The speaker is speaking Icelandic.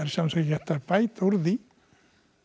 sjálfu sér ekki hægt að bæta úr því